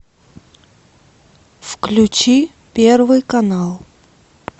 включи первый канал